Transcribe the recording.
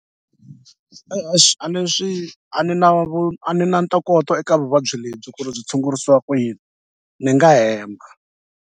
E-e swi a ni swi a ni na vu a ni na ntokoto eka vuvabyi lebyi ku ri byi tshungurisiwa ku yini ni nga hemba.